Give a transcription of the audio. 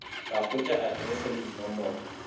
ka hwetša aterese le dinomoro